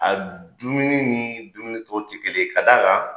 A dumuni ni dumuni tɔw ti kelen ye ka d'a kan